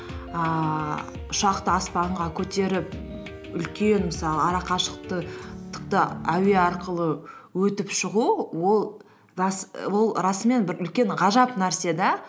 ііі ұшақты аспанға көтеріп үлкен мысалы ара әуе арқылы өтіп шығу ол расымен бір үлкен ғажап нәрсе де